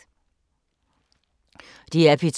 DR P2